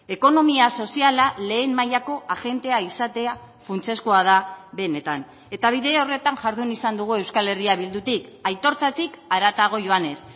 ekonomia soziala lehen mailako agentea izatea funtsezkoa da benetan eta bide horretan jardun izan dugu euskal herria bildutik aitortzatik haratago joanez